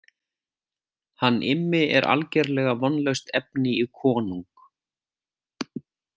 Hann Immi er algerlega vonlaust efni í konung.